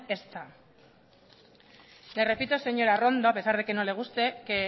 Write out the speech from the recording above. ezta le repito señora arrondo a pesar de que no le guste que